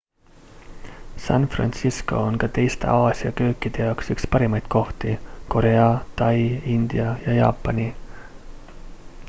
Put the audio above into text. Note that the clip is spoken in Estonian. san francisco on ka teiste aasia köökide jaoks üks parimaid kohti korea tai india ja jaapani